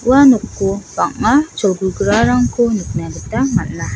ua noko bang·a cholgugrarangko nikna gita man·a.